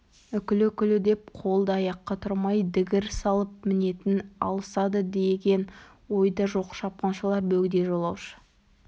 үкілі үкілі деп қолды-аяққа тұрмай дігір салып мінетін алысады деген ойда жоқ шапқыншылар бөгде жолаушы